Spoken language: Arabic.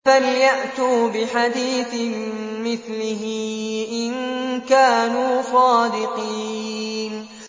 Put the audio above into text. فَلْيَأْتُوا بِحَدِيثٍ مِّثْلِهِ إِن كَانُوا صَادِقِينَ